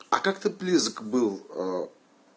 а как ты близок был